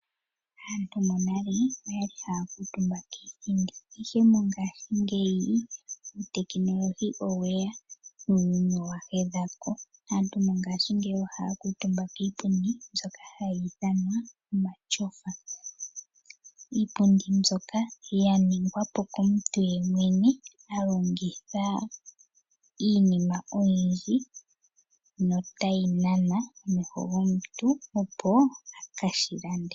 Aantu monale oyali haa kutumba kiithindi ihe mongashingeyi uutekinolohi oweya nuuyuni owa hedha ko. Aantu mongashingeyi ohaa kutumba kiipundi mbyoka hayi ithanwa omatyofa. Iipundi mbyoka ya ningwa wa po komuntu yemwene, a longitha iinima oyindji notayi nana omeho gomuntu opo eka shi lande.